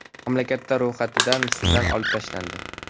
Mamlakatlar ro‘yxatidan Sudan olib tashlandi.